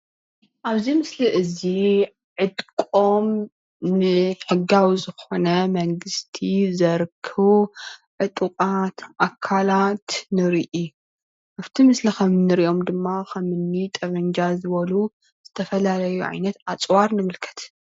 አብዚ ምስሊ እዚ ዕጥቆም ንሕጋዊ ዝኮነ መንግስቲ ዘርክቡ ዕጡቃት ኣካላት ንርኢ፡፡ ኣብቲ ምስሊ ከም እንሪኦም ድማ ከም እኒ ጠበንጃ ዝበሉ ዝተፈላለዩ ዓይነት ኣፅዋር ምልከት፡፡